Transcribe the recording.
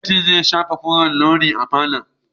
Mai fenti zai shafa koren launi a falon.